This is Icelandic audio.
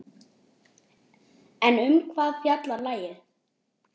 En um hvað fjallar lagið?